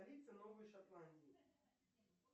столица новой шотландии